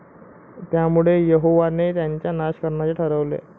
त्यामुळे यहोवाने त्यांचा नाश करण्याचं ठरवलं.